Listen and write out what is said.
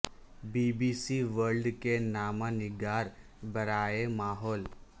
be B C World کے نامہ نگار برائے ماحول